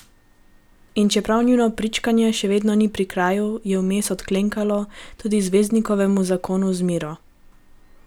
In čeprav njuno pričkanje še vedno ni pri kraju, je vmes odklenkalo tudi zvezdnikovemu zakonu z Miro.